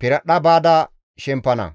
piradhdha baada shempana.